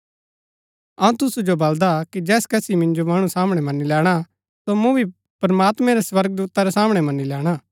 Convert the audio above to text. अऊँ तुसु जो बल्‍दा कि जैस कसी मिन्जो मणु सामणै मनी लैणा सो मूँ भी प्रमात्मैं रै स्वर्गदूता रै सामणै मनी लैणा